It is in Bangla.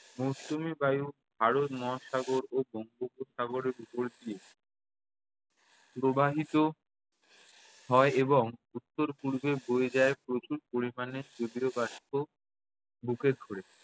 মৌসুমী বায়ু ভারত মহাসাগর ও বঙ্গোপসাগরের ওপর দিয়ে প্রবাহিত হয় এবং উত্তর-পূর্বে বয়ে যায় প্রচুর পরিমাণে জলীয় বাষ্প